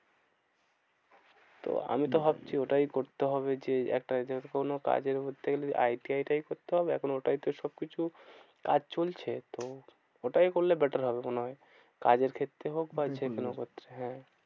তো আমিতো ভাবছি ওটাই করতে হবে যে, একটা কোনো কাজে করতে গেলে আই টি আই টাই করতে হবে এখন ওটাই তো সবকিছু কাজ চলছে। তো ওটাই করলে better হবে মনে হয়। কাজের ক্ষেত্রে হোক বা যেকোনো ক্ষেত্রে হ্যাঁ